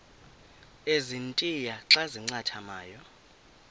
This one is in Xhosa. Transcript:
ezintia xa zincathamayo